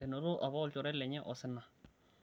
enoto apa olchore lenye osina